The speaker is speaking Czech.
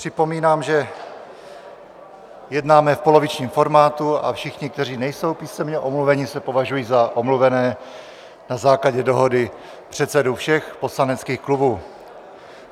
Připomínám, že jednáme v polovičním formátu, a všichni, kteří nejsou písemně omluveni, se považují za omluvené na základě dohody předsedů všech poslaneckých klubů.